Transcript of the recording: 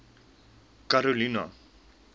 karolina